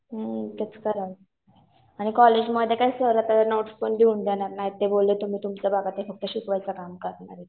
हम्म. तेच करावं लागेल. आणि कॉलेजमध्ये काय सर आता नोट्स पण लिहून देणार नाहीत. ते बोलले तुम्ही तुमचं बघा. मी फक शिकवायचं काम करतो.